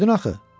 Dedim axı.